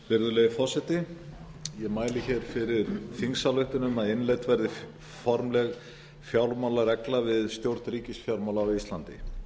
virðulegi forseti ég mæli hér fyrir þingsályktun um að innleidd verði formleg fjármálaregla við stjórn ríkisfjármála á íslandi